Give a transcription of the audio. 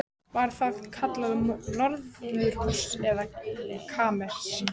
Var það kallað norðurhús eða kamers